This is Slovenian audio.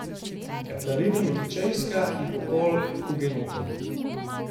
Katarina Medičejska in pokol hugenotov.